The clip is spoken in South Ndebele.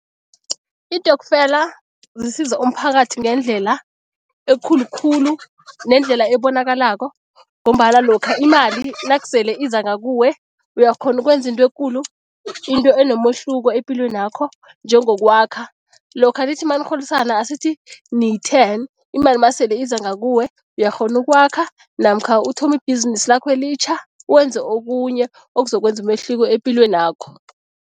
Iintokfela zisiza umphakathi ngendlela ekulu khulu nendlela ebonakalako ngombana lokha imali nakusele iza ngakuwe, uyakhona ukwenza into ekulu, into enomehluko epilwenakho njengokwakha. Lokha nithi manirholisana, asithi niyi-ten, imali masele iza ngakuwe uyakghona ukwakha namkha uthome ibhizinisi lakho elitjha wenze okunye okuzokwenza umehluko epilwenakho.